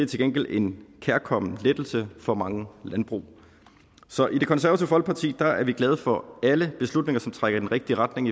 til gengæld en kærkommen lettelse for mange landbrug så i det konservative folkeparti er er vi glade for alle beslutninger som trækker i den rigtige retning